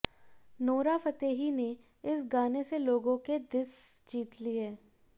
Nora Fatehi ने इस गाने से लोगों के दिस जीत लिए